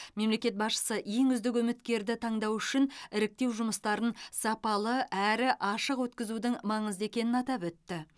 мемлекет басшысы ең үздік үміткерлерді таңдау үшін іріктеу жұмыстарын сапалы әрі ашық өткізудің маңызды екенін атап өтті